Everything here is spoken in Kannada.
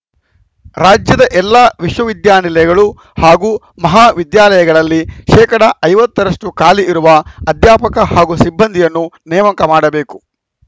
ರಾಜ್ಯದ ಎಲ್ಲಾ ವಿಶ್ವ ವಿದ್ಯಾನಿಲಯಗಳು ಹಾಗೂ ಮಹಾ ವಿದ್ಯಾಲಯಗಳಲ್ಲಿ ಶೇಕಡಾ ಐವತ್ತ ರಷ್ಟುಖಾಲಿ ಇರುವ ಅಧ್ಯಾಪಕ ಹಾಗೂ ಸಿಬ್ಬಂದಿಯನ್ನು ನೇಮಕ ಮಾಡಬೇಕು